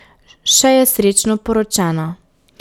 Še je srečno poročena ...